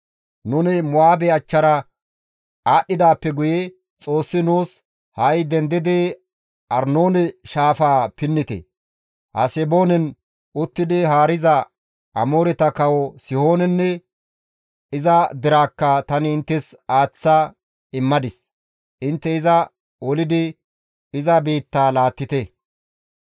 Nuni Mo7aabe achchara aadhdhidaappe guye Xoossi nuus, «Ha7i dendidi Arnoone shaafaa pinnite; Haseboonen uttidi haariza Amooreta kawo Sihoonenne iza deraakka tani inttes aaththa immadis; intte iza olidi iza biittaa laattite.